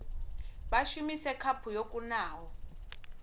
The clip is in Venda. vha shumise khaphu yo kunaho